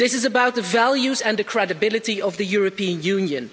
This is about the values and the credibility of the European Union.